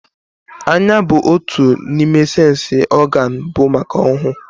Anya bu otu n'ime séns ọgán bu maka ọhụụ